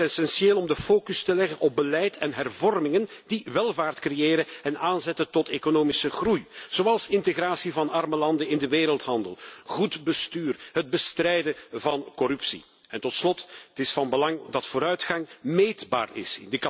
Het is essentieel om de focus te leggen op beleid en hervormingen die welvaart creëren en aanzetten tot economische groei, zoals integratie van arme landen in de wereldhandel, goed bestuur, het bestrijden van corruptie. En tot slot is het van belang dat vooruitgang meetbaar is.